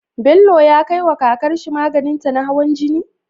Bello ya kai wa kakar shi maganin ta na hawan jini?